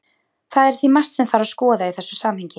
Það er því margt sem þarf að skoða í þessu samhengi.